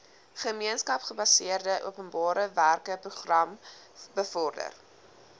gemeenskapsgebaseerde openbarewerkeprogram bevorder